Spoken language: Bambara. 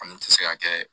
An dun tɛ se ka kɛ